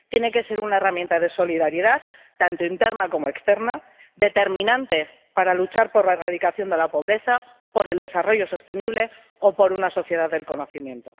Tiene que ser una herramienta de solidaridad tanto interna como externa, determinante para luchar por la erradicación de la pobreza, por el desarrollo sostenible o por una sociedad del conocimiento.